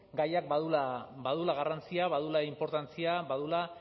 gaiak baduela garrantzia baduela inportantzia baduela